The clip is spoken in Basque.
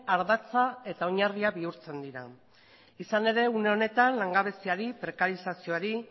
ardatza eta oinarria bihurtzen dira izan ere une honetan langabeziari prekarizazioari